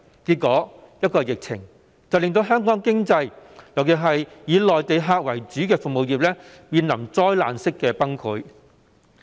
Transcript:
結果，一個疫情便令香港的經濟，尤其是以內地客為主的服務業，面臨災難式的崩潰。